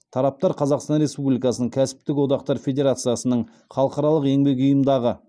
тараптар қазақстан республикасының кәсіптіктік одақтар федерациясының халықаралық еңбек ұйымындағы